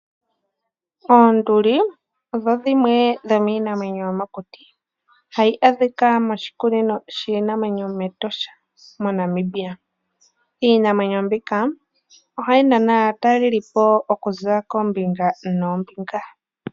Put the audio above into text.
Oonduli odho dhimwe dhomiinamwenyo yomokuti hadhi adhika moshikunino shiinamwenyo mEtosha moNamibia. Iinamwenyo mbika ohayi nana aatalelipo okuza koombinga noombinga.